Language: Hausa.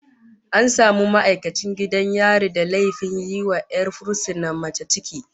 An samu ma'aikacin gidan yari da laifin yiwa 'yar fursuna mace ciki